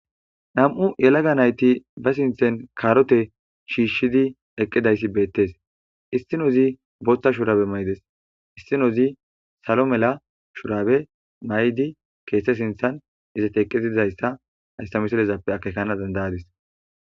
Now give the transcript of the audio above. Nam'u yelaga nayti ba sinthen kaarote shiishidi eqqidayssi beettes istinozi boothta shuraabe maydes issinozi salo mela shuraabe may'di keette sinthan izat eqqitizayssa haysamiselezappe akekana dandayadis.